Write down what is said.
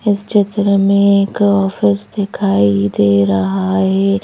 इस चित्र में एक ऑफिस दिखाई दे रहा है।